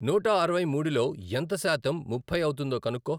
నూట అరవై మూడులో ఎంత శాతం ముప్పై అవుతుందో కనుక్కో